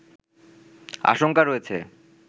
আশংকা রয়েছে